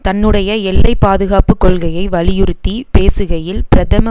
தன்னுடைய எல்லை பாதுகாப்பு கொள்கையை வலியுறுத்தி பேசுகையில் பிரதம